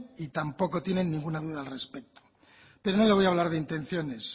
y tampoco tienen ninguna duda al respecto pero no le voy a hablar de intenciones